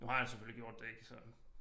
Nu har han selvfølgelig gjort det ikke så